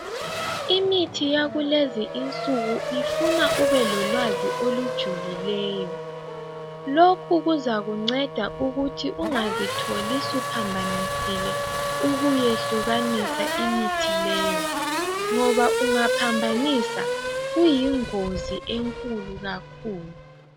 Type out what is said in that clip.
Imithi yakulezi insuku ifuna ubelolwazi olujulileyo. Lokhu kuzakunceda ukuthi ungazitholi suphambanisile ukuyehlukanisa imithi leyo, ngoba ungaphambanisa kuyingozi enkulu kakhulu.